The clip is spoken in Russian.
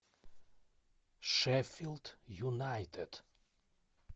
шеффилд юнайтед